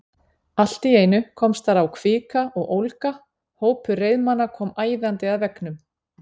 Allt í einu komst þar á kvika og ólga: hópur reiðmanna kom æðandi að veggnum.